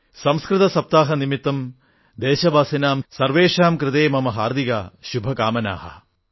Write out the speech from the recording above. സംസ്കൃത സപ്താഹ നിമിത്തം ദേശവാസിനാം സർവേഷാം കൃതേ മമ ഹാർദിക് ശുഭകാമനാഃ